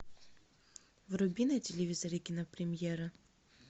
вруби на телевизоре кинопремьера